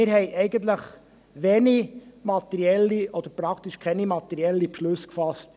Eigentlich haben wir in dieser Beziehung wenige oder praktisch keine materiellen Beschlüsse gefasst.